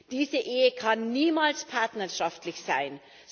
Diese Ehe kann niemals partnerschaftlich sein.